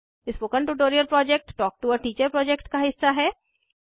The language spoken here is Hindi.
spoken tutorial project talk to a teacher project का हिस्सा है